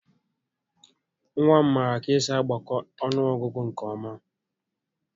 Nwa m maara ka-esi agbakọ ọnụọgụgụ nke ọ́má